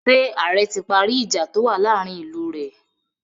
Ṣé ààrẹ ti parí ìjà tó wà láàárin ìlú rẹ̀?